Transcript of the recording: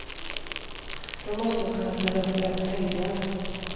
Då måste hon kunna ställa upp även helger.